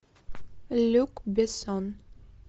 люк бессон